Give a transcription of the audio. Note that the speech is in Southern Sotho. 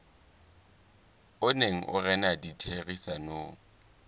o neng o rena ditherisanong